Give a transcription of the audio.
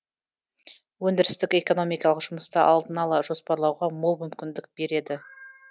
өндірістік экономикалық жұмысты алдын ала жоспарлауға мол мүмкіндік береді